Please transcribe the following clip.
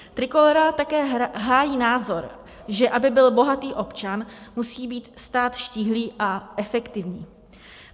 Trikolóra také hájí názor, že aby byl bohatý občan, musí být stát štíhlý a efektivní.